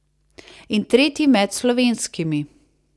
In tretji med slovenskimi.